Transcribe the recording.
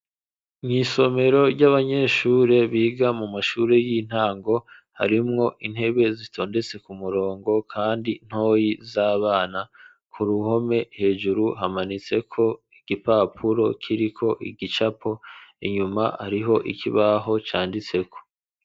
Mw'isomero ry'abanyeshure, biga mu mashure y'intango, harimwo intebe, zitondetse ku murongo, kandi ntoyi, z'abana; ku ruhome, hejuru, hamanitseko igipapuro, kiriko igicapo; inyuma, hariho ikibaho, canditseko.